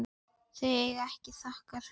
Þau eiga þakkir fyrir.